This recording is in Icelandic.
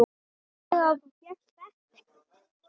Þannig að þú fékkst ekkert?